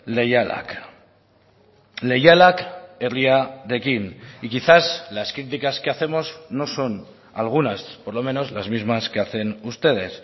leialak leialak herriarekin y quizás las críticas que hacemos no son algunas por lo menos las mismas que hacen ustedes